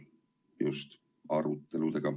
Just, arutelusid.